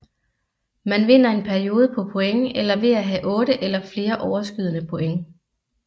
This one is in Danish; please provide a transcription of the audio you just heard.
Man vinder en periode på point eller ved at have 8 eller flere overskydende point